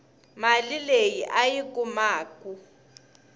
mali leyi a yi kumaku